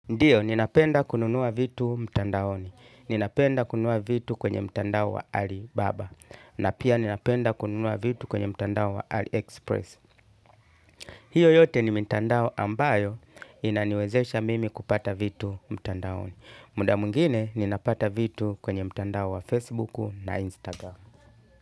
Ndiyo, ninapenda kununua vitu mtandaoni, ninapenda kununua vitu kwenye mtandao wa Alibaba, na pia ninapenda kununua vitu kwenye mtandao wa Aliexpress. Hiyo yote ni mitandao ambayo inaniwezesha mimi kupata vitu mtandaoni. Muda mwingine, ninapata vitu kwenye mtandao wa Facebook na Instagramu.